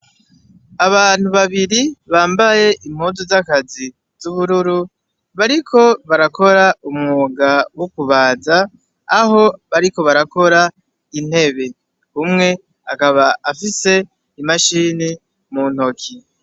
Abantu babiri bambaye impuzu z'akazi z'ubururu bariko barakora umwuga wo kubaza, aho bariko barakora intebe. Umwe akaba afise imashini mu ntoki.